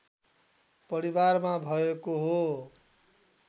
परिवारमा भएको हो